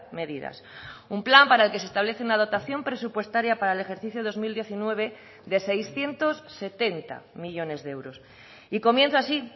medidas un plan para el que se establece una dotación presupuestaria para el ejercicio dos mil diecinueve de seiscientos setenta millónes de euros y comienza así